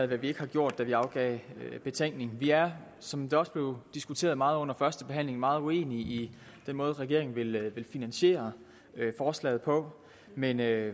hvad vi ikke har gjort da vi afgav betænkning vi er som det også blev diskuteret meget under førstebehandlingen meget uenige i den måde regeringen vil finansiere forslaget på men er